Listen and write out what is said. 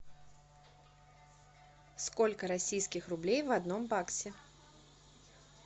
сколько российских рублей в одном баксе